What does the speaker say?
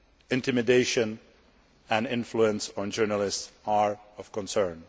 Intimidation and influence on journalists are of concern.